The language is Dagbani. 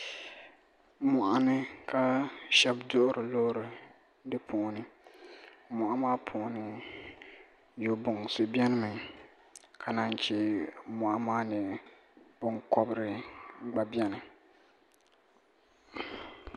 mɔɣuni ka shɛba duhiri loori di puuni mɔɣu maa puuni yogbunsi benimi ka naan che mɔɣu maani binkɔbiri gba beni